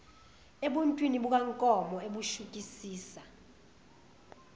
ebuntwini bukankomo ebushukisisa